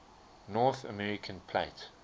north american plate